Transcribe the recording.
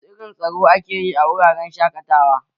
Wasu irin taro ake yi a wuraren shaƙatawa?